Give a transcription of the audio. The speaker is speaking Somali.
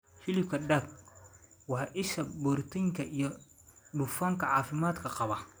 Hilibka Duck: Waa isha borotiinka iyo dufanka caafimaadka qaba.